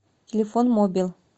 телефон мобил